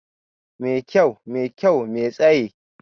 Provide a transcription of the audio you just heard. Mai kyau, mai kyau, mai tsaye